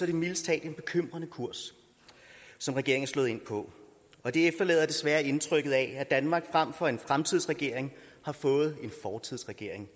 det mildest talt en bekymrende kurs som regeringen er slået ind på og det efterlader desværre indtrykket af at danmark frem for en fremtidsregering har fået en fortidsregering